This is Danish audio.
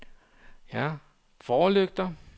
forlygter